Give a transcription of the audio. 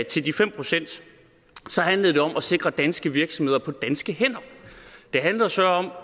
til de fem pct handlede det om at sikre danske virksomheder på danske hænder det handlede så